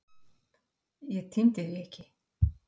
Ég tímdi því ekki.